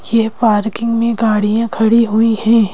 यह पार्किंग में गाड़ियां खड़ी हुई है।